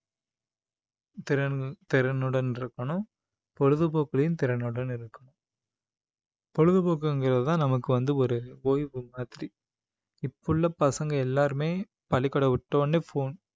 திறன்~ திறனுடன் இருக்கணும் பொழுதுபோக்குலையும் திறனுடன் இருக்க~ பொழுதுபோக்குங்கிறதுதான் நமக்கு வந்து ஒரு ஓய்வு மாதிரி இப்ப உள்ள பசங்க எல்லாருமே பள்ளிக்கூடம் விட்ட உடனே phone